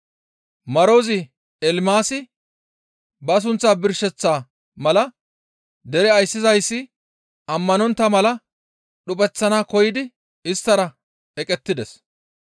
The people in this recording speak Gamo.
Marozi Elimaasi ba sunththaa birsheththa mala dere ayssizayssi ammanontta mala dhuphanaas koyidi isttara eqettides.